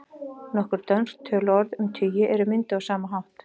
Nokkur dönsk töluorð um tugi eru mynduð á sama hátt.